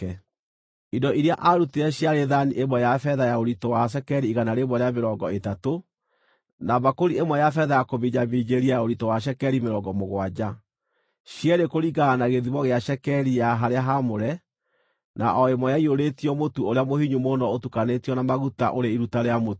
Indo iria aarutire ciarĩ thaani ĩmwe ya betha ya ũritũ wa cekeri igana rĩmwe rĩa mĩrongo ĩtatũ, na mbakũri ĩmwe ya betha ya kũminjaminjĩria ya ũritũ wa cekeri mĩrongo mũgwanja, cierĩ kũringana na gĩthimo gĩa cekeri ya harĩa haamũre, na o ĩmwe yaiyũrĩtio mũtu ũrĩa mũhinyu mũno ũtukanĩtio na maguta, ũrĩ iruta rĩa mũtu;